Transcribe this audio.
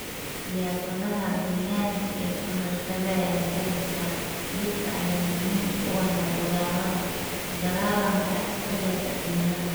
Siyaasadaha deegaanka ee ka hortagaya jarista dhirta ayaa muhiim u ah la dagaalanka isbedelka cimilada.